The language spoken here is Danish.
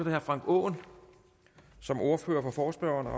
herre frank aaen som ordfører for forespørgerne